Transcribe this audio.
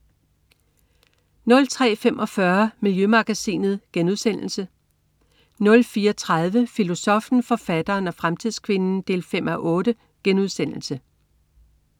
03.45 Miljømagasinet* 04.30 Filosoffen, forfatteren og fremtidskvinden 5:8*